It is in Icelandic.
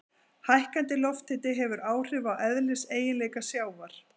Hækkandi lofthiti hefur áhrif á eðliseiginleika sjávar.